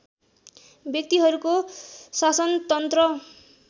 व्यक्तिहरूको शासनतन्त्र